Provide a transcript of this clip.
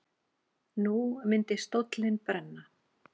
Nú myndi stóllinn brenna.